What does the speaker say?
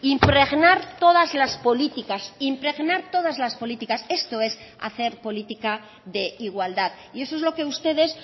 impregnar todas las políticas impregnar todas las políticas esto es hacer política de igualdad y eso es lo que ustedes